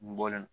N bɔlen